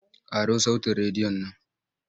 Ƙaro sautin rediyon nan!